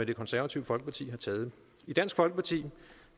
det konservative folkeparti har truffet i dansk folkeparti